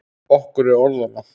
Okkur er orða vant.